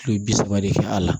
U ye bi saba de kɛ a la